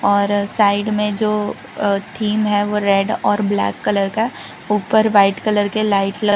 और साइड मे जो थीम अ है वो रेड और ब्लैक कलर का ऊपर व्हाइट कलर के लाइट ल --